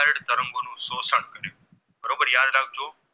રાખજો